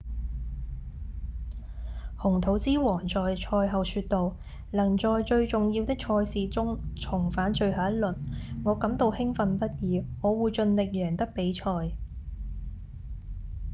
紅土之王在賽後說道：「能在最重要的賽事中重返最後一輪我感到興奮不已我會盡力贏得比賽」